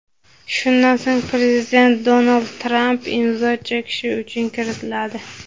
Shundan so‘ng prezident Donald Tramp imzo chekishi uchun kiritiladi.